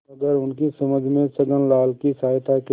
मगर उनकी समझ में छक्कनलाल की सहायता के